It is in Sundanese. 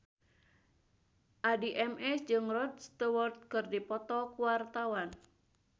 Addie MS jeung Rod Stewart keur dipoto ku wartawan